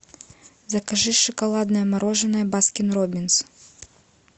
закажи шоколадное мороженое баскин роббинс